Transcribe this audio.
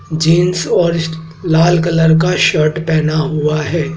Jeans और लाल colour का शर्ट पहना हुआ है।